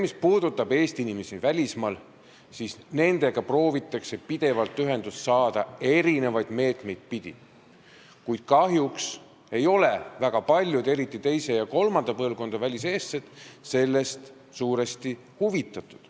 Mis puudutab Eesti inimesi välismaal, siis nendega proovitakse pidevalt ühendust saada eri meetmete abil, kuid kahjuks ei ole väga paljud väliseestlased, eriti just teise ja kolmanda põlvkonna väliseestlased sellest huvitatud.